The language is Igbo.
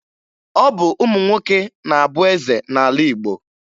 Ọ bụ ụmụ nwoke na-abụ eze n'ala Igbo